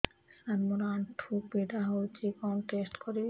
ସାର ମୋର ଆଣ୍ଠୁ ପୀଡା ହଉଚି କଣ ଟେଷ୍ଟ କରିବି